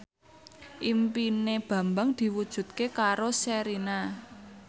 impine Bambang diwujudke karo Sherina